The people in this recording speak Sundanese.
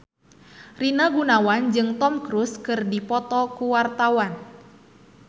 Rina Gunawan jeung Tom Cruise keur dipoto ku wartawan